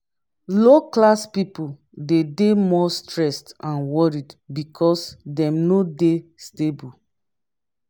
low class pipo de dey more stressed and worried because dem no de stable